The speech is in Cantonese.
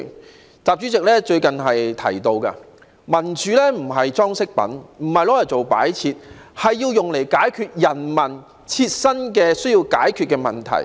承習主席最近所言，民主不是裝飾品，不是用來做擺設的，而是要用來解決人民需要解決的問題的。